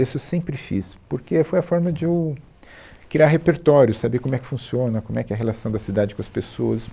Isso eu sempre fiz, porque é, foi a forma de eu criar repertório, saber como é que funciona, como é que é a relação da cidade com as pessoas.